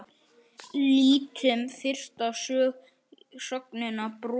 Lítum fyrst á sögnina brosa